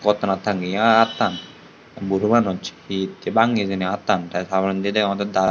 gotonat tanggeye attan buju manuj hette banggi attan te tar porendi degogotte daru.